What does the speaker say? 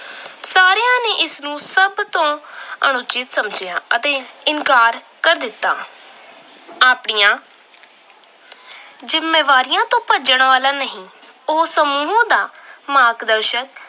ਇਸ ਨੂੰ ਸਭ ਤੋਂ ਅਣਉਚਿਤ ਸਮਝਿਆ ਅਤੇ ਇਨਕਾਰ ਕਰ ਦਿੱਤਾ। ਆਪਣੀਆਂ ਜਿੰਮੇਵਾਰੀਆਂ ਤੋਂ ਭੱਜਣ ਵਾਲਾ ਨਹੀਂ। ਉਹ ਸਮੂਹ ਦਾ ਮਾਰਗਦਰਸ਼ਕ